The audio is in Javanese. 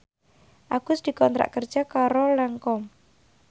Agus dikontrak kerja karo Lancome